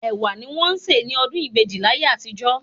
Ẹ̀wà ni wọ́n ń se ní ọdún ìbejì láyé àtijó